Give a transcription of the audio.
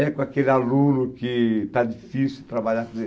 É com aquele aluno que está difícil de trabalhar, quer dizer,